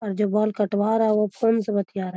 और जो बाल कटवा रहा है वो फोन से बतिया रहा।